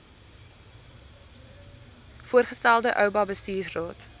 voorgestelde oba bestuursraad